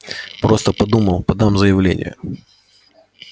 просто подумал подам заявление